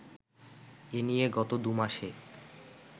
এ নিয়ে গত দু'মাসে